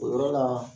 O yɔrɔ la